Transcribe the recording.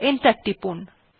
enter টিপুন